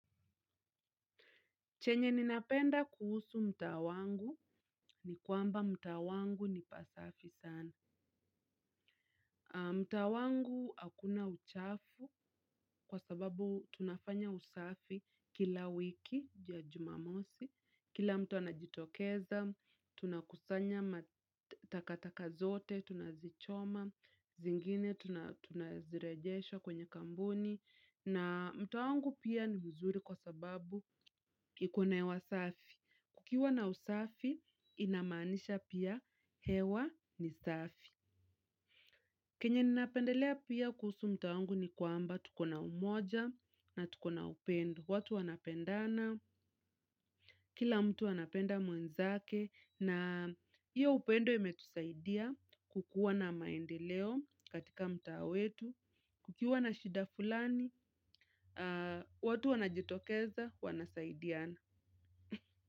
Chenye ninapenda kuhusu mtaa wangu ni kwamba mtaa wangu ni pasafi sana. Mtaa wangu hakuna uchafu kwa sababu tunafanya usafi kila wiki ya jumamosi, kila mtu anajitokeza, tunakusanya matakataka zote, tunazichoma, zingine tunazirejesha kwenye kampuni, na mtaa wangu pia ni mzuri kwa sababu iko na hewa safi. Kukiwa na usafi, inamaanisha pia hewa ni safi. Kenye ninapendelea pia kuhusu mtaa wangu ni kwamba tuko na umoja na tuko na upendo. Watu wanapendana, kila mtu anapenda mwenzake na hiyo upendo imetusaidia kukuwa na maendeleo katika mtaa wetu. Kukiwa na shida fulani, watu wanajitokeza, wanasaidiana.